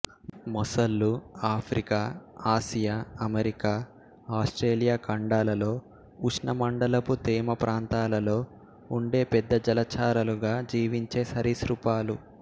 మొసళ్ళు Africa Asia America Australia ఖండాలలో ఉష్ణమండలపు తేమ ప్రాంతాలలో ఉండే పెద్ద జలచరాలుగా జీవించే సరీసృపాలు